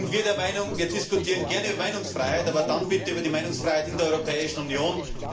Wir diskutieren gerne über Meinungsfreiheit, aber dann bitte über die Meinungsfreiheit in der Europäischen Union.